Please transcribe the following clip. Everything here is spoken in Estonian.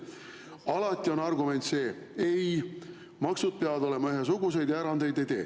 Alati on argument see: ei, maksud peavad olema ühesugused ja erandeid me ei tee.